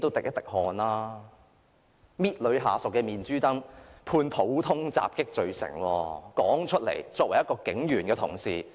一名警員同事捏女下屬的面頰被判普通襲擊罪成，說出來顏面何存？